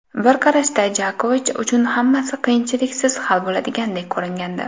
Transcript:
Bir qarashda Jokovich uchun hammasi qiyinchiliksiz hal bo‘ladigandek ko‘ringandi.